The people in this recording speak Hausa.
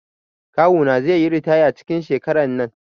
Kawu na zai yi ritaya cikin shekaran nan.